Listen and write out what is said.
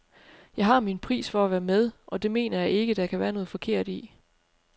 Jeg har min pris for at være med, og det mener jeg ikke, der kan være noget forkert i.